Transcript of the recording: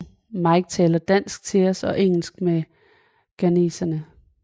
Mike taler dansk til os og engelsk med ghaneserne